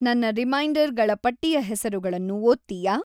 ನನ್ನ ರಿಮೈಂಡರ್ ಗಳ ಪಟ್ಟಿಯ ಹೆಸರುಗಳನ್ನು ಓದ್ತೀಯಾ